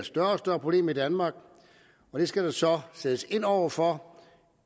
større problem i danmark det skal der så sættes ind over for